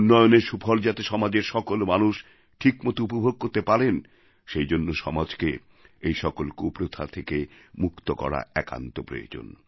উন্নয়নের সুফল যাতে সমাজের সকল মানুষ ঠিকমতো উপভোগ করতে পারেন সেই জন্য সমাজকে এই সকল কুপ্রথা থেকে মুক্ত করা একান্ত প্রয়োজন